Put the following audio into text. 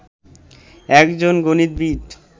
একজন গণিতবিদ